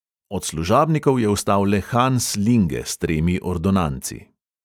Od služabnikov je ostal le hans linge s tremi ordonanci.